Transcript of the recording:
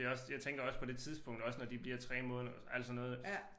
Det også jeg tænker også på det tidspunkt også når de bliver 3 måneder alt sådan noget